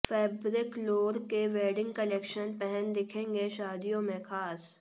फैब्रिकलोर के wedding collection पहन दिखेंगे शादियों में खास